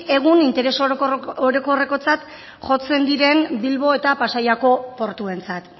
egun interes orokorrekotzat jotzen diren bilbo eta pasaiako portuentzat